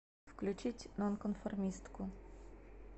включить нонконформистку